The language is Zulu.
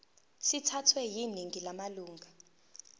sithathwe yiningi lamalunga